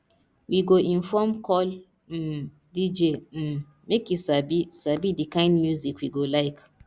we go inform call um dj um make e sabi sabi the kind music we go like